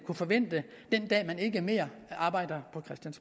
kan forvente den dag man ikke mere arbejder